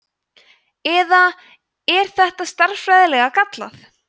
eða er þetta stærðfræðilega gallað